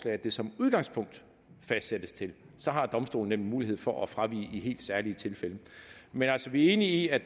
at det som udgangspunkt fastsættes til det så har domstolene nemlig mulighed for at fravige det i helt særlige tilfælde men altså vi er enige i at